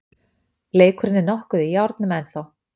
Leikurinn er nokkuð í járnum ennþá